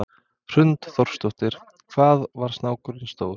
Hrund Þórsdóttir: Hvað var snákurinn stór?